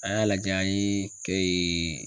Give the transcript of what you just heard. An y'a lajɛ an ye kɛ